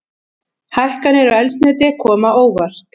Hækkanir á eldsneyti koma á óvart